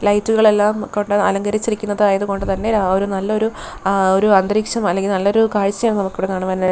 ലൈറ്റുകൾ എല്ലാം കൊണ്ട് അലങ്കരിച്ചിരിക്കുന്നത് ആയതുകൊണ്ട് തന്നെ ആ ഒരു നല്ലൊരു ആ ഒരു അന്തരീക്ഷം അല്ലെങ്കിൽ നല്ലൊരു കാഴ്ചയാണ് നമുക്ക് ഇവിടെ കാണുവാനായി-